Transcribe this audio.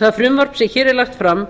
það frumvarp sem hér er lagt fram